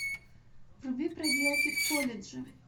вруби проделки в колледже